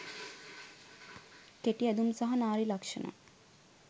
කෙටි ඇඳුම් සහ නාරි ලක්ෂණ